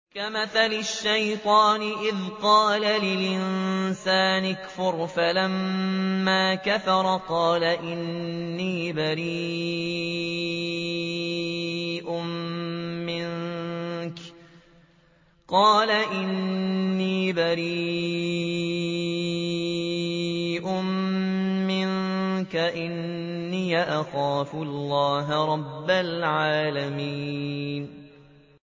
كَمَثَلِ الشَّيْطَانِ إِذْ قَالَ لِلْإِنسَانِ اكْفُرْ فَلَمَّا كَفَرَ قَالَ إِنِّي بَرِيءٌ مِّنكَ إِنِّي أَخَافُ اللَّهَ رَبَّ الْعَالَمِينَ